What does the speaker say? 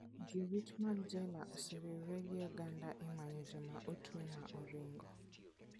Jorit mag jela oseriwore gi oganda e manyo joma otwe ma oringo.